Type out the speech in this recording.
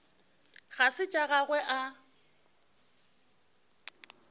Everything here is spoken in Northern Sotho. ga se tša gagwe a